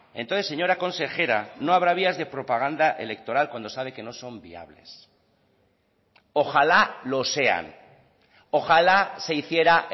entonces señora consejera no habrá vías de propaganda electoral cuando sabe que no son viables ojalá lo sean ojalá se hiciera